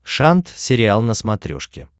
шант сериал на смотрешке